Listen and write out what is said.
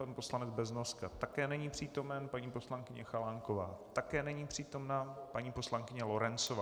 Pan poslanec Beznoska také není přítomen, paní poslankyně Chalánková také není přítomna, paní poslankyně Lorencová...